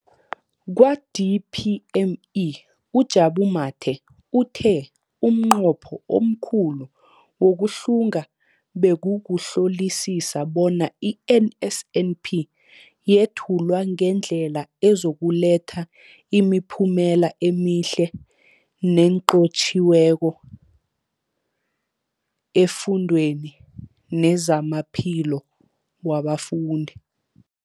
Kwa-DPME, uJabu Mathe, uthe umnqopho omkhulu wokuhlunga bekukuhlolisisa bona i-NSNP yethulwa ngendlela ezokuletha imiphumela emihle nenqotjhiweko efundweni nezamaphilo wabafundi.